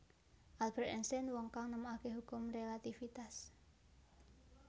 Albert Einstein Wong kang nemokake hukum relatifitas